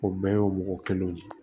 O bɛɛ y'o mɔgɔ kelenw de ye